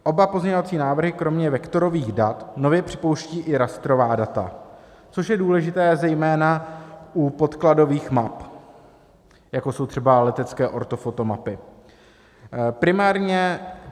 Oba pozměňovací návrhy kromě vektorových dat nově připouštějí i rastrová data, což je důležité zejména u podkladových map, jako jsou třeba letecké ortofotomapy.